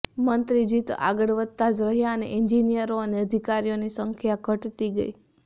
મંત્રીજી તો આગળ વધતા જ રહ્યાં અને એન્જિનિયરો અને અધિકારીઓની સંખ્યા ઘટતી ગઈ